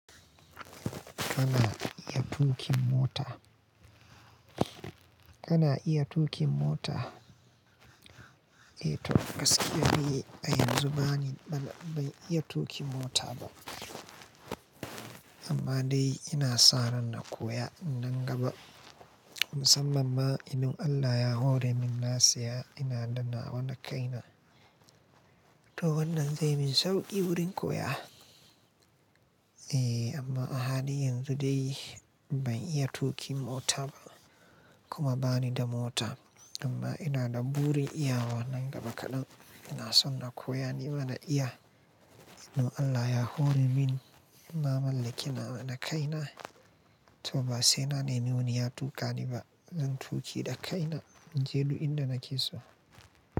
Kana iya tuƙin mota? Kana iya tuƙin mota? Eh to gaskiya dai a yanzu bani ban ban iya tuƙin mota ba. Amma dai ina sa ranna koya nan gaba. Musamman ma imin Allah ya hore min nasiya ina da nawa na kaina. To wannan zai min sauƙi wurin koya. Eh amma a halin yanzu dai ban iya tuƙin mota ba kuma bani da mota. Amma ina da burin iyawa nan gaba kaɗan. Ina son na koya ni ma na iya. Dan Allah ya hore min. Na mallake nawa na kaina. To ba sai na nemi wani ya tuƙa ni ba. Zan tuƙi da kaina. Jelu inda na ke so.